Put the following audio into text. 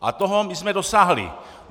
A toho my jsme dosáhli.